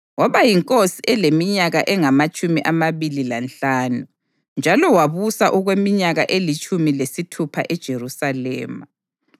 Waba yinkosi eleminyaka engamatshumi amabili lanhlanu, njalo wabusa okweminyaka elitshumi lesithupha eJerusalema.